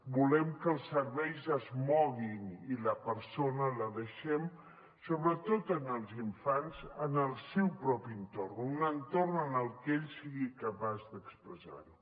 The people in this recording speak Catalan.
volem que els serveis es moguin i la persona la deixem sobretot els infants en el seu propi entorn en un entorn en el que ell sigui capaç d’expressarho